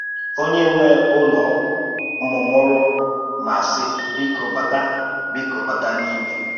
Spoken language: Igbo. Onye nwe Ụ́lọ̀ mùmùrù ma sị: um ‘Bíkò, bàtà um ‘Bíkò, bàtà n’ímé